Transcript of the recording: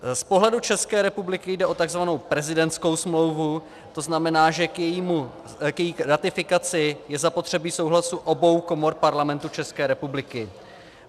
Z pohledu České republiky jde o takzvanou prezidentskou smlouvu, to znamená, že k její ratifikaci je zapotřebí souhlasu obou komor Parlamentu České republiky.